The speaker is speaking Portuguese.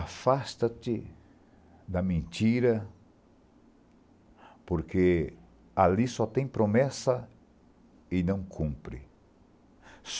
Afasta-te da mentira, porque ali só tem promessa e não cumpre.